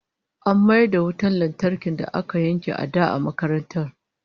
An mayar da wutar lantarkin da aka yanke a da a makarantar